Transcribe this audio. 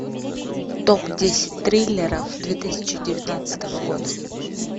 топ десять триллеров две тысячи девятнадцатого года